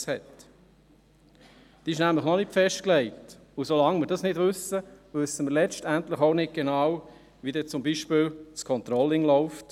Diese ist nämlich noch nicht festgelegt, und so lange wir das nicht wissen, wissen wir letztendlich auch nicht genau, wie dann beispielsweise das Controlling läuft.